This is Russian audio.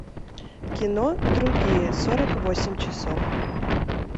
кино другие сорок восемь часов